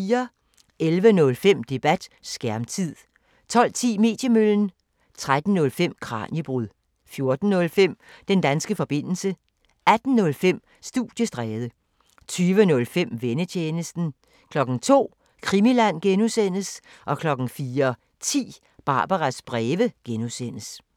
11:05: Debat: Skærmtid 12:10: Mediemøllen 13:05: Kraniebrud 14:05: Den danske forbindelse 18:05: Studiestræde 20:05: Vennetjenesten 02:00: Krimiland (G) 04:10: Barbaras breve (G)